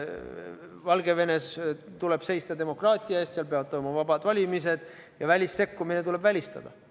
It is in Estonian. Valgevenes tuleb seista demokraatia eest, seal peavad olema vabad valimised ja välissekkumine tuleb välistada.